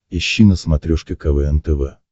ищи на смотрешке квн тв